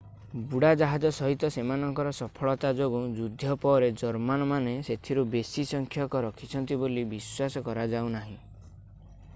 ବୁଡ଼ାଜାହାଜ ସହିତ ସେମାନଙ୍କର ସଫଳତା ଯୋଗୁଁ ଯୁଦ୍ଧ ପରେ ଜର୍ମାନମାନେ ସେଥିରୁ ବେଶି ସଂଖ୍ୟକ ରଖିଛନ୍ତି ବୋଲି ବିଶ୍ୱାସ କରାଯାଉନାହିଁ